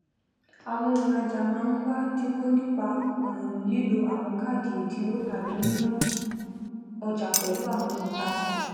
àwon ònrajà máá n wá dìnwó nípa um lílo àwon káádì èdìnwó tàbí níná ojà pèlù àwon òntajà